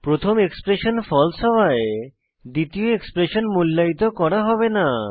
প্রথম এক্সপ্রেশন falseহওয়ায় দ্বিতীয় এক্সপ্রেশন মূল্যায়িত করা হবে না